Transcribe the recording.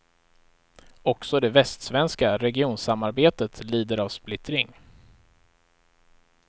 Också det västsvenska regionsamarbetet lider av splittring.